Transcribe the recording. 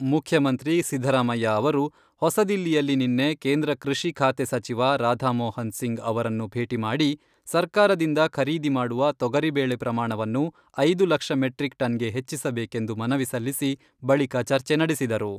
ಮುಖ್ಯಮಂತ್ರಿ ಸಿದ್ದರಾಮಯ್ಯ ಅವರು ಹೊಸದಿಲ್ಲಿಯಲ್ಲಿ ನಿನ್ನೆ ಕೇಂದ್ರ ಕೃಷಿ ಖಾತೆ ಸಚಿವ ರಾಧಾ ಮೋಹನ್ ಸಿಂಗ್ ಅವರನ್ನು ಭೇಟಿ ಮಾಡಿ, ಸರ್ಕಾರದಿಂದ ಖರೀದಿ ಮಾಡುವ ತೊಗರಿ ಬೇಳೆ ಪ್ರಮಾಣವನ್ನು ಐದು ಲಕ್ಷ ಮೆಟ್ರಿಕ್ ಟನ್ಗೆ ಹೆಚ್ಚಿಸಬೇಕೆಂದು ಮನವಿ ಸಲ್ಲಿಸಿ, ಬಳಿಕ ಚರ್ಚೆ ನಡೆಸಿದರು.